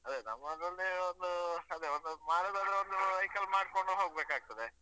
ಅದೇ ನಮ್ಮದ್ರಲ್ಲಿ ಒಂದು ಅದೇ ಒಂದು ಮಾಡುದಾದ್ರೆ ಒಂದು vehicle ಮಾಡ್ಕೊಂಡು ಹೋಗ್ಬೇಕಾಗ್ತದೆ.